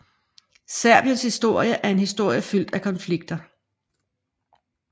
Serbiens historie er en historie fyldt af konflikter